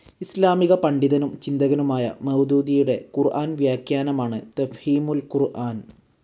ഇസ്‌ലാമിക പണ്ഡിതനും ചിന്തകനുമായ മൌദൂദിയുടെ ഖുർ‌ആൻ വ്യാഖ്യാനമാണ് തഫ്ഹീമുൽ ഖുർആൻ.